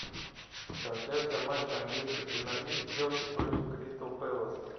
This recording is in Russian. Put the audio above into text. трансляция матча английской премьер лиги челси против кристал пэласа